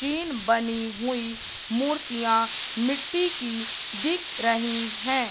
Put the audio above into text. तीन बनी हुई मूर्तियां मिट्टी की दिख रही है।